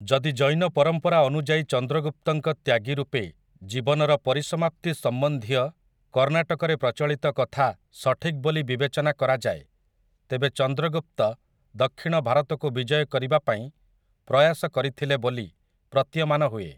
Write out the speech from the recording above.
ଯଦି ଜୈନ ପରମ୍ପରା ଅନୁଯାୟୀ ଚନ୍ଦ୍ରଗୁପ୍ତଙ୍କ ତ୍ୟାଗୀ ରୂପେ ଜୀବନର ପରିସମାପ୍ତି ସମ୍ବନ୍ଧୀୟ କର୍ଣ୍ଣାକଟରେ ପ୍ରଚଳିତ କଥା ସଠିକ୍ ବୋଲି ବିବେଚନା କରାଯାଏ, ତେବେ ଚନ୍ଦ୍ରଗୁପ୍ତ ଦକ୍ଷିଣ ଭାରତକୁ ବିଜୟ କରିବା ପାଇଁ ପ୍ରୟାସ କରିଥିଲେ ବୋଲି ପ୍ରତୀୟମାନ ହୁଏ ।